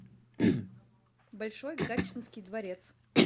большой гатчинский дворец